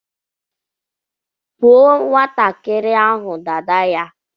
Kpụọ nwatakịrị ahụ dada ya!